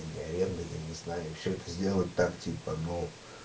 аренда я не знаю всё это делать так типа ну